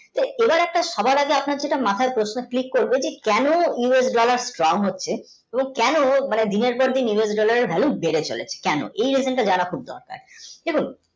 এবার সবার আগে আপনার মাথায় একটা প্রশ্ন click করবে যে কেন US dollar strong হচ্ছে কেন ও দিনের পর দিন us এর value বেড়ে চলেছে কেন এই regent তা জানা খুব দরকার এবং